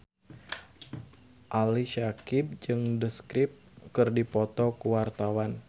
Ali Syakieb jeung The Script keur dipoto ku wartawan